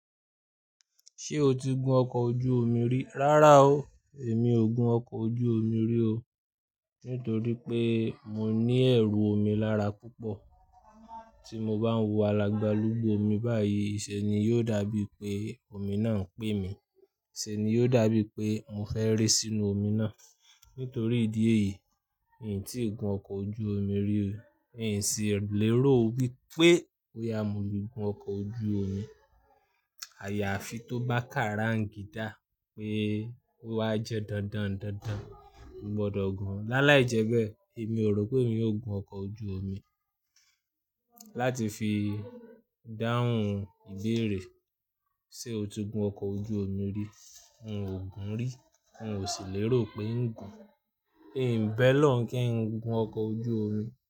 Ṣé o ti gun ọkọ̀ ojú omi rí? Rárá o, èmi ò gun ọkọ̀ ojú omi rí o. Nítorí pé mo ní ẹ̀rù omi lára púpọ̀. Tí mo bá ń wò alàgbàálùgbù omi báyìí, ìṣe ni yóò dàbí pé omi náà ń pé mi. Se ni yóò dàbí pé mò fẹ́ ré sínú omi náà. Nítorí ìdí èyí, mi ò tí ì gun ọkọ̀ ojú omi rí. Mi sì lérò wípé bó yá mi le gun ọkọ̀ ojú omi. Àyàfi tó bá ká rangídá pé ó wá jẹ́ dandan dandan, mo gbọdọ̀ gun. Láàláì jẹ́ bẹ́ẹ̀, èmi ò rò pé mi yóò gun ọkọ̀ ojú omi. Láti fi dáhùn ìbéèrè, ṣe o ti gun ọkọ̀ ojú omi rí? N ò gun rí, n ò sì lérò pé n gun. Ẹ̀ ń bẹ O'lọ́un ń kí ń gun ọkọ̀ ojú omi.